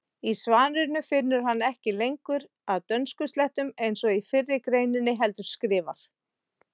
Í svarinu finnur hann ekki lengur að dönskuslettum eins og í fyrri greininni heldur skrifar: